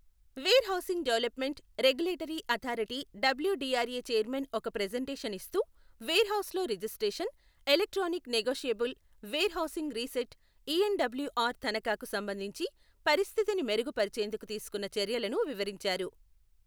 Wear housing development, regulatory authority W DR A chairman ఒక presentation ఇస్తూ, వేర్ హౌస్ల registration, electronic negotiable warehousing receipt ENWR తనఖాకు సంబంధించి పరిస్థితిని మెరుగు పరిచేందుకు తీసుకున్న చర్యలను వివరించారు.